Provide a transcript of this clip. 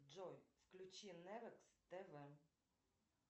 джой включи невекс тв